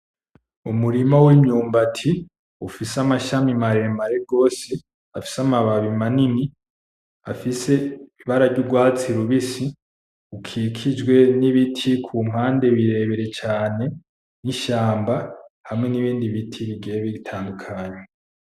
Umurima w'imyumbati ufise amashami maremare gose afise amababi manini afise ibara ry'urwatsi rubisi ukikijwe n'ibiti kumpande birebire cane n'ishamba hamwe n'ibindi biti bigiye bitandukanye.